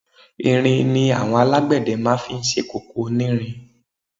Irin ni àwọn alágbẹ̀dẹ máa fi ń ṣe kòkò onírin.